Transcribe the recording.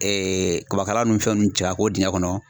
kabakala ni fɛn nunnu cɛ ka ko dingɛ kɔnɔ